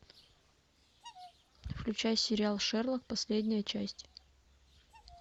включай сериал шерлок последняя часть